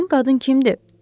Həmin qadın kimdir?